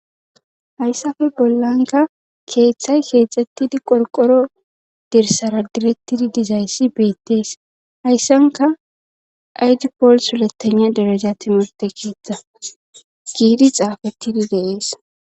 Hayssape bollanka keeththay keexxettidi qorqoro dirsara girettidi dizayssi beettees hayssanka aydi pool suletana deraja timirte keetta giidi xaafettidi de7es.